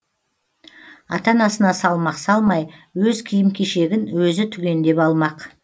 ата анасына салмақ салмай өз киім кешегін өзі түгендеп алмақ